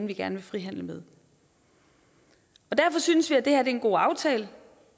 vi gerne vil frihandle med derfor synes vi at det her er en god aftale